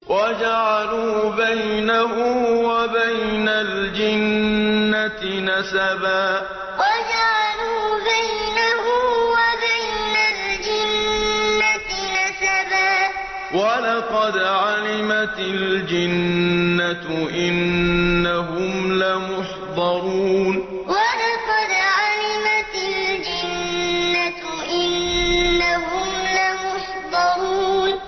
وَجَعَلُوا بَيْنَهُ وَبَيْنَ الْجِنَّةِ نَسَبًا ۚ وَلَقَدْ عَلِمَتِ الْجِنَّةُ إِنَّهُمْ لَمُحْضَرُونَ وَجَعَلُوا بَيْنَهُ وَبَيْنَ الْجِنَّةِ نَسَبًا ۚ وَلَقَدْ عَلِمَتِ الْجِنَّةُ إِنَّهُمْ لَمُحْضَرُونَ